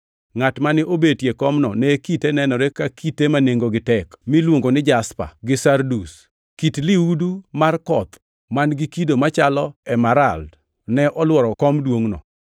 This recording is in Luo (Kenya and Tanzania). Ngʼat mane obetie komno ne kite nenore ka kite ma nengogi tek miluongo ni jaspa gi sardus. Kit lihudu mar koth man-gi kido machalo emerald ne olworo kom duongʼno.